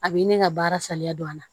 A b'i ni ka baara saliya don a la